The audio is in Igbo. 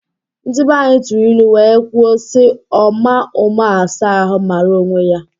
Ndi banyi tụrụ ilu wee kwuo si: Ọma ụma asa ahụ mara onwe ya!